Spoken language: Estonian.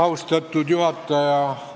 Austatud juhataja!